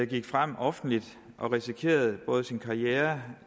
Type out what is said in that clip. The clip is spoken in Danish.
gik frem offentligt og risikerede både sin karriere